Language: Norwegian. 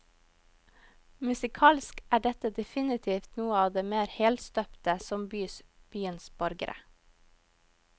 Musikalsk er dette definitivt noe av det mer helstøpte som bys byens borgere.